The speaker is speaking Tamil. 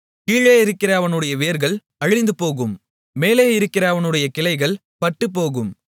கீழே இருக்கிற அவனுடைய வேர்கள் அழிந்துபோகும் மேலே இருக்கிற அவனுடைய கிளைகள் பட்டுப்போகும்